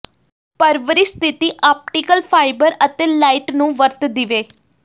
ਪਰਵਰਿਸ਼ ਸਥਿਤੀ optical fibre ਅਤੇ ਲਾਇਟ ਨੂੰ ਵਰਤ ਦੀਵੇ